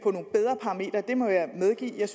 det må jeg medgive at jeg